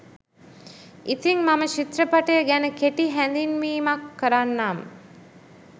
ඉතිං මම චිත්‍රපටය ගැන කෙටි හැඳින්වීමක් කරන්නම්